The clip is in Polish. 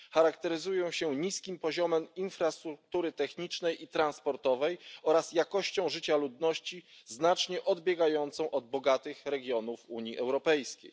Charakteryzują się niskim poziomem infrastruktury technicznej i transportowej oraz jakością życia ludności znacznie odbiegającą od bogatych regionów Unii Europejskiej.